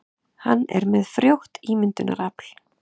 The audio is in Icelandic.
Hann er með frjótt ímyndunarafl.